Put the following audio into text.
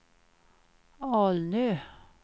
Alnö